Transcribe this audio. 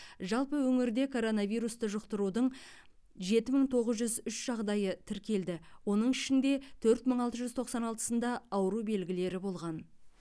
жалпы өңірде коронавирусты жұқтырудың жеті мың тоғыз жүз үш жағдайы тіркелді оның ішінде төрт мың алты жүз тоқсан алтысында ауру белгілері болған